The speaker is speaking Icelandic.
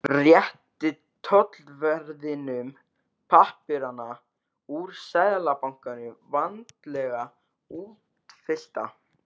Rétti tollverðinum pappírana úr Seðlabankanum, vandlega útfyllta.